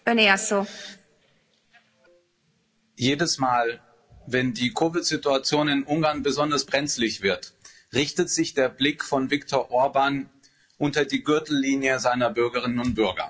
Frau Präsidentin! Jedes Mal, wenn die COVID-Situation in Ungarn besonders brenzlig wird, richtet sich der Blick von Viktor Orbán unter die Gürtellinie seiner Bürgerinnen und Bürger.